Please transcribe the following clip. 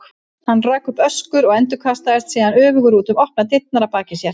Hann rak upp öskur og endurkastaðist síðan öfugur út um opnar dyrnar að baki sér.